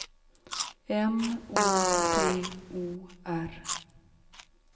M O T O R